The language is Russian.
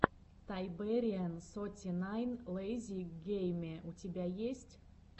тайбэриэн соти найн лэйзи гейме у тебя есть